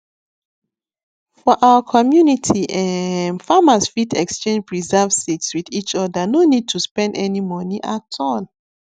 for our community um farmers fit exchange preserved seeds with each other no need to spend any money at all